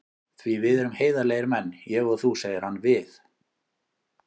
Því við erum heiðarlegir menn, ég og þú, segir hann við